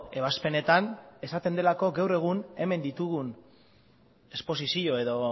ebazpenetan esaten delako gaur egun hemen ditugun esposizio edo